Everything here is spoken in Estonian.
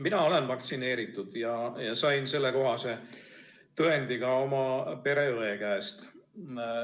Mina olen vaktsineeritud ja sain sellekohase tõendi oma pereõe käest.